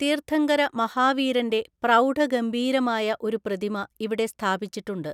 തീർത്ഥങ്കര മഹാവീരന്‍റെ പ്രൗഢഗംഭീരമായ ഒരു പ്രതിമ ഇവിടെ സ്ഥാപിച്ചിട്ടുണ്ട്.